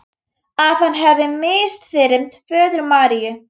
Að hann hefði misþyrmt föður Maríu.